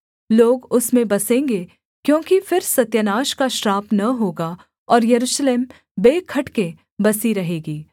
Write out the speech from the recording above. लोग उसमें बसेंगे क्योंकि फिर सत्यानाश का श्राप न होगा और यरूशलेम बेखटके बसी रहेगी